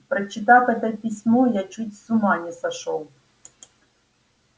прочитав это письмо я чуть с ума не сошёл